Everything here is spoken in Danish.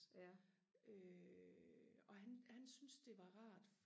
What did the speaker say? øh og han han syntes det var rart